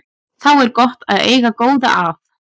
Þá er gott að eiga góða að.